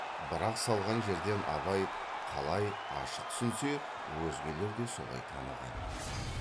бірақ салған жерден абай қалай ашық түсінсе өзгелер де солай таныған